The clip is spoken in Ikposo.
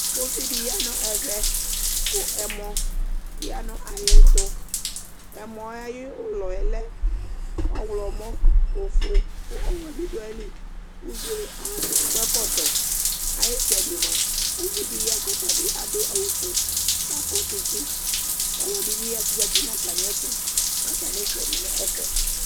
Ʋvidi yanʋ ɛvɛ kʋ ɛmɔ yanʋ ayʋ ɛtʋ ɛmɔyɛ ayʋ ʋlɔ yɛ lɛ ɔwlɔmɔ ofue kʋ ɔwɛ bidʋ ayili ʋvie akɔ ɛkɔtɔ ayitsɛdi mʋa ʋvidi ya kʋ ɔtabi adʋ awʋfue kʋ akɔ tsitsi ɔlɔdi bi zati nʋ atami ɛtʋ nʋ atami itsɛdi nʋ ɛfɛ